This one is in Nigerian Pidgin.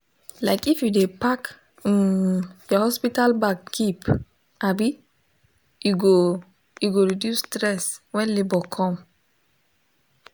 like if u de pack um your hospital bag keep um e go e go reduce stress when labor come